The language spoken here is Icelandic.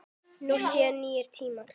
Nú séu nýir tímar.